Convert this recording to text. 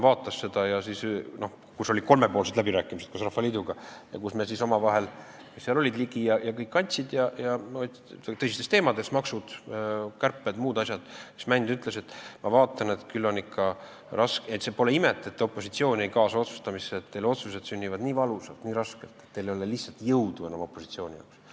Aga kui olid kolmepoolsed läbirääkimised Rahvaliiduga, seal olid Ligi ja kes kõik veel, kus arutati tõsiseid teemasid, makse, kärpeid ja muid asju, siis Tarmo Mänd ütles, et ta vaatab, et küll on ikka raske, pole ime, et opositsiooni ei kaasata otsustamisse, otsused sünnivad nii valusalt, nii raskelt, et ei ole lihtsalt jõudu enam opositsiooni jaoks.